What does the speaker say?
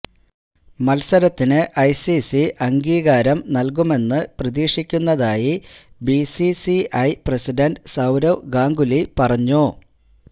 മത്സരത്തിന് ഐസിസി അംഗീകാരം നല്കുമെന്ന് പ്രതീക്ഷിക്കുന്നതായി ബിസിസിഐ പ്രസിഡന്റ് സൌരവ് ഗാംഗുലി പറഞ്ഞു